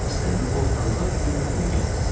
İstədi ortalığa yüngüllük gətirsin.